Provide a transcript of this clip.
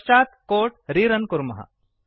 पश्चात् code rerun कुर्मः